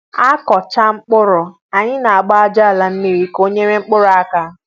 akụ cháa mkpụrụ, anyị a gbaa aja àlà mmiri ka o nyere mkpụrụ aka